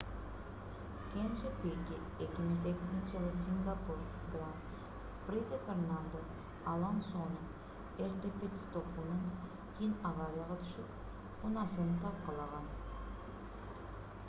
кенже пике 2008-жылы сингапур гран-приде фернандо алонсонун эрте пит-стопунан кийин аварияга түшүп унаасын талкаланган